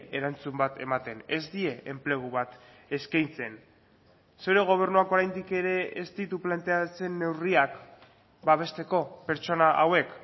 erantzun bat ematen ez die enplegu bat eskaintzen zure gobernuak oraindik ere ez ditu planteatzen neurriak babesteko pertsona hauek